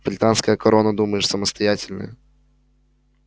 британская корона думаешь самостоятельная